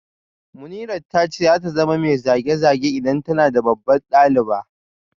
Munirat ta ce za ta zama mai zage-zage idan tana babbar daliba